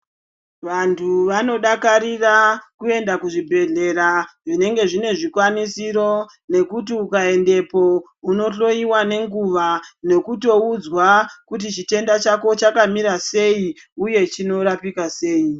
Vantu vanodakarira kuenda kuzvibhedhlera zvinenge zvine zvikwanisiro nekuti ukaendepo unohlowiwa nenguva nekutoudzwa kuti chitenda chako chakamira sei uye chinorapika sei.